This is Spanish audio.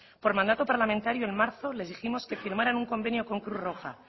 por mandato parlamentario en marzo les dijimos que firmaran un convenio con cruz roja